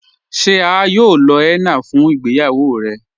Ṣe à yóò lọ henna fun ìgbéyàwó rẹ?